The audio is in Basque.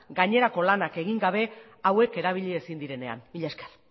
gainerako lanak egin gabe hauek erabili ezin direnean mila esker